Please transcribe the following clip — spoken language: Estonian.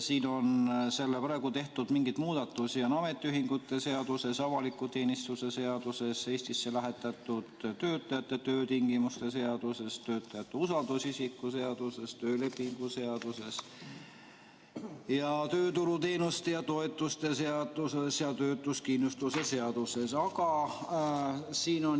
Siin on praegu tehtud mingeid muudatusi ametiühingute seaduses, avaliku teenistuse seaduses, Eestisse lähetatud töötajate töötingimuste seaduses, töötajate usaldusisiku seaduses, töölepingu seaduses, tööturuteenuste ja ‑toetuste seaduses ja töötuskindlustuse seaduses.